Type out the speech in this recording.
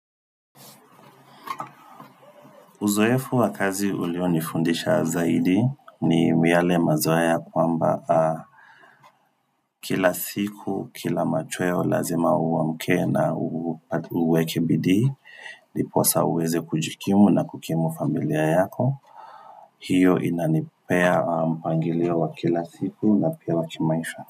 Uzoefu wa kazi ulionifundisha zaidi ni yale mazoea kwamba kila siku, kila machweo lazima uamke na uweke bidii, ndiposa uweze kujikimu na kukimu familia yako. Hiyo inanipea mpangilio wa kila siku na pia wakimaisha.